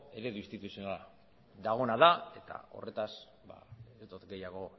eredu instituzionala dagoena da eta horretaz ez dot gehiago